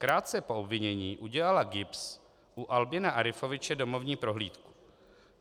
Krátce po obvinění udělala GIBS u Albina Arifoviče domovní prohlídku.